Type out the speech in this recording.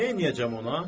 Neyləyəcəm ona?